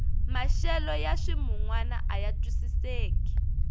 maxelo ya ximunwana aya twisiseki